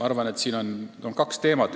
Ma arvan, et siin on kaks teemat.